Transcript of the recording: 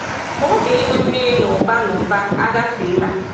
Ma oge ịnwe mmiri n’ụba n’ụba agafeela.